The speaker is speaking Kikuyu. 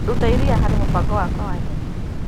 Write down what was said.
Ruta iria harĩ mũbango wakwa wa nyeni.